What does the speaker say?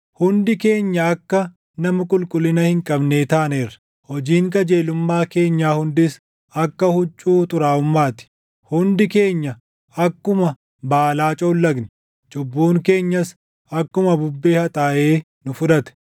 Hundi keenya akka nama qulqullina hin qabnee taaneerra; hojiin qajeelummaa keenyaa hundis akka huccuu xuraaʼummaa ti; hundi keenya akkuma baalaa coollagne; cubbuun keenyas akkuma bubbee haxaaʼee nu fudhate.